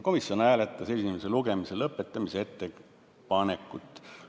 Komisjon hääletas esimese lugemise lõpetamise ettepanekut.